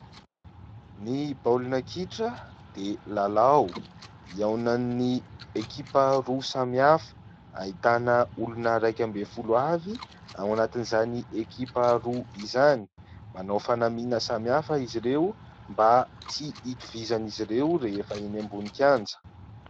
Ny baolina kitra dia lalao ihaonan'ny ekipa roa samy hafa, ahitana olona iraikambin'ny folo avy ao anatin'izany ekipa roa izany. Manao fanamiana samy hafa izy ireo mba tsy hitovizan'izy ireo rehefa eny ambonin'ny kianja.